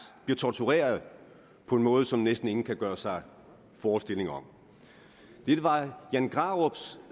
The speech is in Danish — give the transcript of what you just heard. bliver tortureret på en måde som næsten ingen kan gøre sig forestillinger om jan grarups